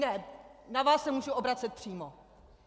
Ne, na vás se můžu obracet přímo.